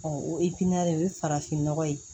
o o ye farafinnɔgɔ ye